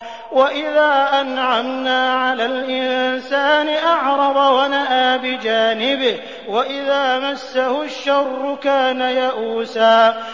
وَإِذَا أَنْعَمْنَا عَلَى الْإِنسَانِ أَعْرَضَ وَنَأَىٰ بِجَانِبِهِ ۖ وَإِذَا مَسَّهُ الشَّرُّ كَانَ يَئُوسًا